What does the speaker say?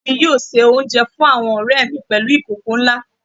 Ìya mi yóò se oúnjẹ fún àwọn ọ̀rẹ̀ mi pèlú ìkòkò nlá